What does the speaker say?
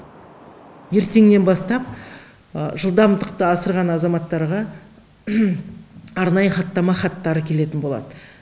ертеңнен бастап жылдамдықты асырған азаматтарға арнайы хаттама хаттары келетін болады